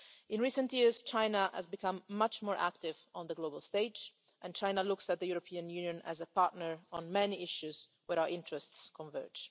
In recent years, China has become much more active on the global stage and China looks to the European Union as a partner on many issues where our interests converge.